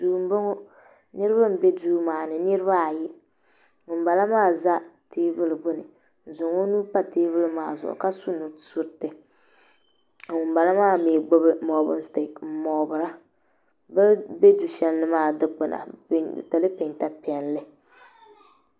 Duu m boŋɔ niriba m be duu maani niriba ayi ŋun bala maa za teebuli gbini n zaŋ o nuu pa teebuli maa zuɣu ka su nusuriti ka ŋunbala maa gbibi moobin sitik m moobira bini be du'sheli ni maa dikpina bɛ pentili penta piɛlli.